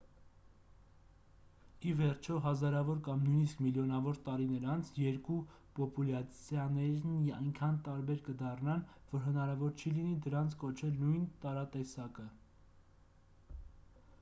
ի վերջո հազարավոր կամ նույնիսկ միլիոնավոր տարիներ անց երկու պոպուլյացիաներն այնքան տարբեր կդառնան որ հնարավոր չի լինի դրանց կոչել նույն տարատեսակը